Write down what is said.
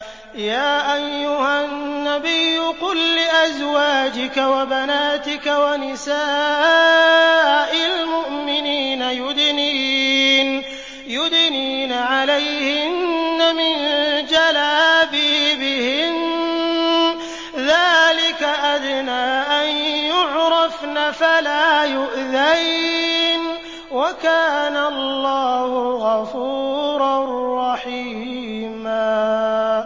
يَا أَيُّهَا النَّبِيُّ قُل لِّأَزْوَاجِكَ وَبَنَاتِكَ وَنِسَاءِ الْمُؤْمِنِينَ يُدْنِينَ عَلَيْهِنَّ مِن جَلَابِيبِهِنَّ ۚ ذَٰلِكَ أَدْنَىٰ أَن يُعْرَفْنَ فَلَا يُؤْذَيْنَ ۗ وَكَانَ اللَّهُ غَفُورًا رَّحِيمًا